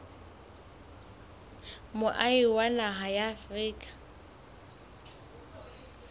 moahi wa naha ya afrika